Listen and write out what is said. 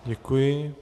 Děkuji.